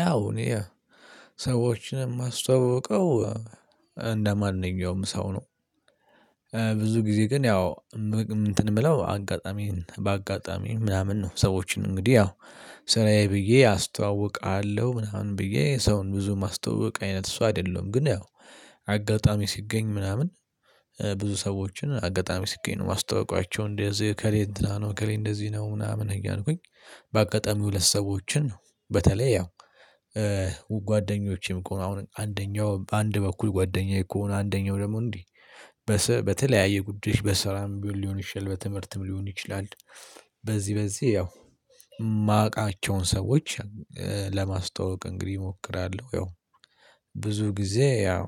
ያው እኔ ሰዎችን የማስተዋውቀው እንደማንኛውም ሰው ነው። ብዙ ጊዜ ግን ያው ምግብ እንትን ብለው አጋጣሚን በአጋጣሚ ምናምን ነው ሰዎችን እንግዲህ ያው ስራዬ ብዬ አስተዋውቃለሁ ምናምን ብዬ ሰውን ብዙ ማስተዋወቅ አይነት ሰው አይደለም ግን ያው አጋጣሚ ሲገኝ ምናምን ብዙ ሰዎችን አጋጣሚ ሲገኝ ነው ማስተዋወቃቸው እንደዚህ ከሌለ እንደዚህ ነው። ምናምን እያልኩኝ በአጋጣሚ ሁለት ሰዎችን ነው በተለይ ያው ጓደኞቼም እኮ አሁን አንደኛው በአንድ በኩል ጓደኛዬ እኮ ነው አንደኛው ደግሞ እንዲህ በተለያየ ጉዳዮች በስራም ቢሆን ሊሆን ይችላል በትምህርትም ሊሆን ይችላል። በዚህ በዚህ ያው የማቃቸውን ሰዎች ለማስተዋወቅ እንግዲህ እሞክራለሁ ያው ብዙ ጊዜ ያው